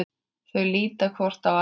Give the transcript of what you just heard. Þau líta hvort á annað.